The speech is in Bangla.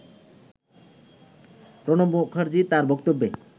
প্রণব মুখার্জি তার বক্তব্যে